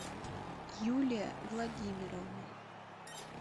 юлия владимировна